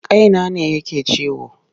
Kaina ne yake ciwo.